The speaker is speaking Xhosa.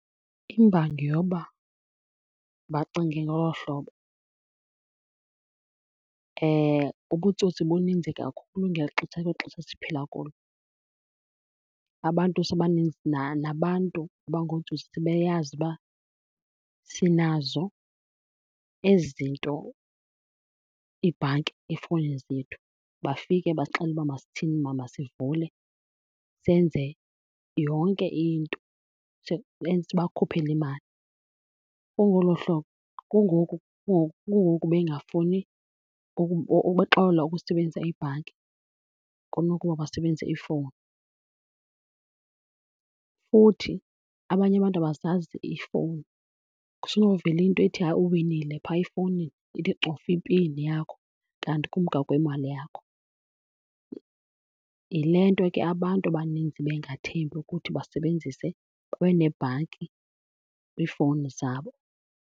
Imbangi yoba bacinge ngolo hlobo ubutsotsi buninzi kakhulu ngeli xesha, kweli xesha siphila kulo. Abantu , nabantu abangootsotsi sebeyazi uba sinazo ezi zinto, iibhanki efowunini zethu. Bafike basixelele uba masithini masivule senze yonke into, sibakhuphele imali. Kungolo hlobo kungoku , kungoku bengafuni ukuxola ukusebenzisa ibhanki kunokuba basebenzise ifowuni. Futhi abanye abantu abazazi iifowuni kusenovela into ethi hayi uwinile phaya efowunini, ithi cofa ipini yakho kanti kumka kwemali yakho. Yile nto ke abantu abaninzi bengathembi ukuthi basebenzise, babe neebhanki kwiifowuni zabo.